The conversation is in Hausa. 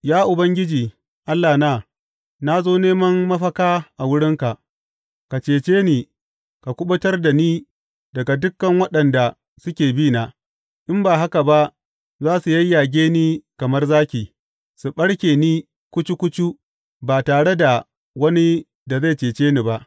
Ya Ubangiji Allahna, na zo neman mafaka a wurinka; ka cece ni ka kuɓutar da ni daga dukan waɗanda suke bi na, in ba haka ba za su yayyage ni kamar zaki su ɓarke ni kucu kucu ba tare da wani da zai cece ni ba.